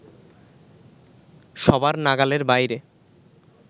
সবার নাগালের বাইরে